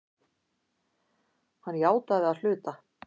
Hann játaði að hluta